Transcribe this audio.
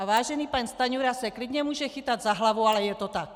A vážený pan Stanjura se klidně může chytat za hlavu, ale je to tak.